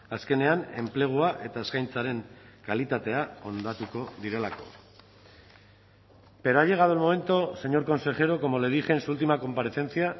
azkenean enplegua eta eskaintzaren kalitatea hondatuko direlako pero ha llegado el momento señor consejero como le dije en su última comparecencia